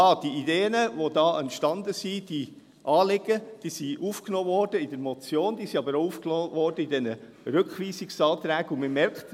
Die Ideen und Anliegen, die dabei entstanden sind, wurden in die Motion (M 235-2019) aufgenommen, sie wurden aber auch in die Rückweisungsanträge aufgenommen, und man merkt: